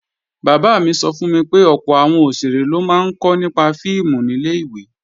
Bàbá mi sọ fún mi pé ọ̀pọ̀ àwọn òṣèré ló máa ń kọ́ nípa fíìmù nílẹ̀ ìwé